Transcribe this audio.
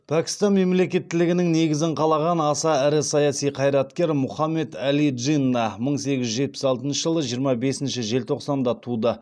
пәкістан мемлекеттілігінің негізін қалаған аса ірі саяси қайраткер мұхаммед әли джинна мың сегіз жүз жетпіс алтыншы жылы жиырма бесінші желтоқсанда туды